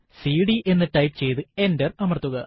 CD എന്ന് type ചെയ്തു enter അമർത്തുക